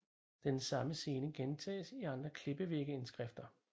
Den samme scene gentages i andre klippevægge indskrifter